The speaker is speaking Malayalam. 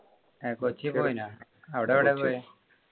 അഹ് കൊച്ചി പൊയിനാ അവിടെ എവിടെയാ പോയെ